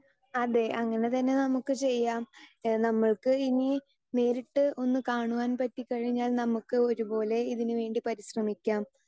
speaker 2 അതെ അങ്ങനെ തന്നെ നമുക്ക് ചെയ്യാം ഏഹ് നമ്മൾക്ക് ഇനി നേരിട്ട് ഒന്ന് കാണുവാൻ പറ്റികഴിഞ്ഞാൽ നമുക്ക് ഒരുപോലെ ഇതിനുവേണ്ടി പരിശ്രമിക്കാം